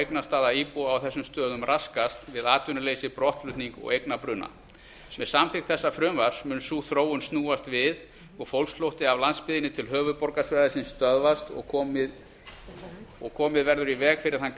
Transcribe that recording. eignastaða íbúa á þessum stöðum raskast við atvinnuleysi brottflutning og eignabruna með samþykkt þessa frumvarps mun sú þróun snúast við og fólksflótti af landsbyggðinni til höfuðborgarsvæðisins stöðvast og komið verður í veg fyrir þann